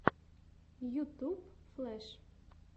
ютуб флэш